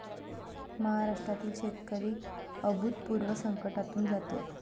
महाराष्ट्रातील शेतकरी अभूतपूर्व संकटातून जातोय.